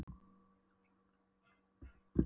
Vita að bráðum hverfur einmanaleikinn mér.